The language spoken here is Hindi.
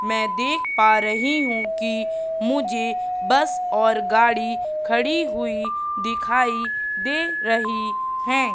मैं देख पा रही हूं कि मुझे बस और गाड़ी खड़ी हुई दिखाई दे रही है।